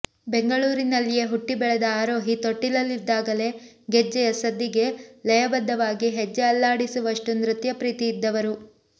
ಬೆಂಗಳೂರಿನಲ್ಲಿಯೇ ಹುಟ್ಟಿ ಬೆಳೆದ ಆರೋಹಿ ತೊಟ್ಟಿಲಲ್ಲಿದ್ದಾಗಲೇ ಗೆಜ್ಜೆಯ ಸದ್ದಿಗೆ ಲಯಬದ್ಧವಾಗಿ ಹೆಜ್ಜೆ ಅಲ್ಲಾಡಿಸುವಷ್ಟು ನೃತ್ಯಪ್ರೀತಿ ಇದ್ದವರು